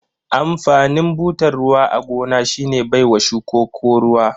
Amfanin butar ruwa a gona shine baiwa shukuko ruwa.